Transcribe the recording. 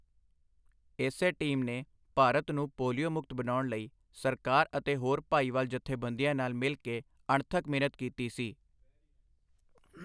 ਇਸੇ ਟੀਮ ਨੇ ਭਾਰਤ ਨੂੰ ਪੋਲੀਓ ਮੁਕਤ ਬਣਾਉਣ ਲਈ ਸਰਕਾਰ ਅਤੇ ਹੋਰ ਭਾਈਵਾਲ ਜੱਥੇਬੰਦੀਆਂ ਨਾਲ ਮਿਲ ਕੇ ਅਣਥੱਕ ਮਿਹਨਤ ਕੀਤੀ ਸੀ।